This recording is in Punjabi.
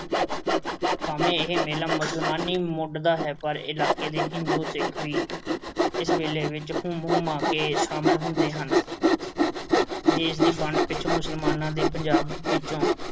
ਭਾਵੇਂ ਇਹ ਮੇਲਾ ਮੁਸਲਮਾਨੀ ਮੁੱਢ ਦਾ ਹੈ ਪਰ ਇਲਾਕੇ ਦੇ ਹਿੰਦੂ ਸਿੱਖ ਵੀ ਇਸ ਮੇਲੇ ਵਿੱਚ ਹੁੰਮ-ਹੁਮਾ ਕੇ ਸ਼ਾਮਲ ਹੁੰਦੇ ਹਨ। ਦੇਸ਼ ਦੀ ਵੰਡ ਪਿੱਛੋਂ ਮੁਸਲਮਾਨਾਂ ਦੇ ਪੰਜਾਬ ਵਿੱਚੋਂ